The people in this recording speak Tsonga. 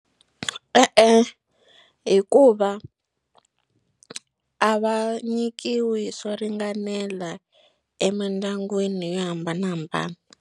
E-e, hikuva a va nyikiwi swo ringanela emindyangwini yo hambanahambana.